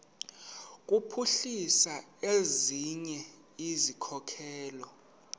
kuphuhlisa ezinye izikhokelo